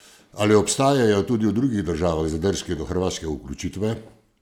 Ali obstajajo tudi v drugih državah zadržki do hrvaške vključitve?